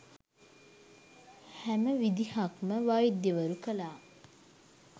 හැම විදිහක්ම වෛද්‍යවරු කළා.